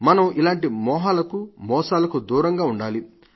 మన ఇలాంటి మోహాలకు మోసాలకు దూరంగా ఉండాలి